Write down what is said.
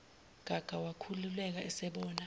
gaga wakhululeka esebona